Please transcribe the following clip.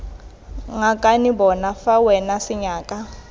ngakane bona fa wena senyaka